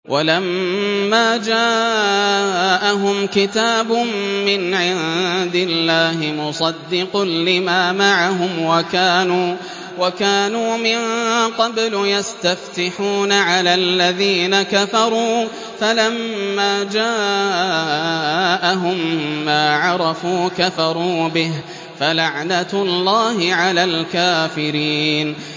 وَلَمَّا جَاءَهُمْ كِتَابٌ مِّنْ عِندِ اللَّهِ مُصَدِّقٌ لِّمَا مَعَهُمْ وَكَانُوا مِن قَبْلُ يَسْتَفْتِحُونَ عَلَى الَّذِينَ كَفَرُوا فَلَمَّا جَاءَهُم مَّا عَرَفُوا كَفَرُوا بِهِ ۚ فَلَعْنَةُ اللَّهِ عَلَى الْكَافِرِينَ